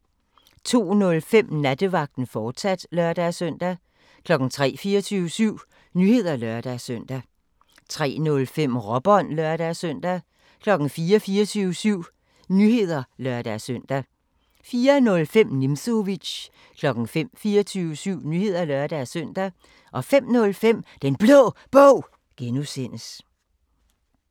02:05: Nattevagten, fortsat (lør-søn) 03:00: 24syv Nyheder (lør-søn) 03:05: Råbånd (lør-søn) 04:00: 24syv Nyheder (lør-søn) 04:05: Nimzowitsch 05:00: 24syv Nyheder (lør-søn) 05:05: Den Blå Bog (G)